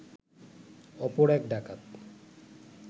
অপর এক ডাকাত